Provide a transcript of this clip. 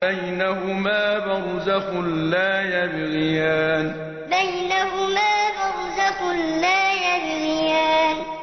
بَيْنَهُمَا بَرْزَخٌ لَّا يَبْغِيَانِ بَيْنَهُمَا بَرْزَخٌ لَّا يَبْغِيَانِ